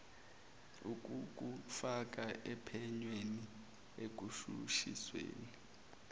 ukukufaka ophenyweni ekushushisweni